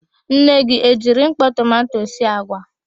Nne gị e jiri mkpọ tomanto gino sie àgwà?